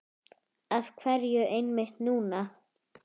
Af hverju einmitt núna?